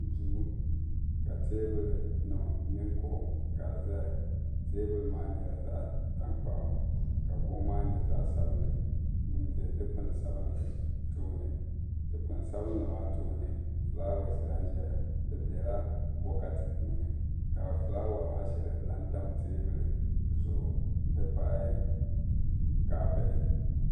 duu ka teebuli nim mini kuɣu ka di ʒɛya teebuli maa nyɛla zaɣ tankpaɣu ka kuɣu maa nyɛ zaɣ sabinli n ʒɛ dikpuni sabinli tooni dikpuni sabinli maa tooni fulaawes lahi ʒɛya di biɛla bokati puuni ka fulawa maa shɛli lahi tam teebuli zuɣu n ti pahi taha bihi